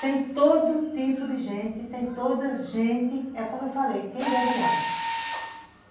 Tem todo tipo de gente, tem toda gente, é como eu falei, quem bebe água.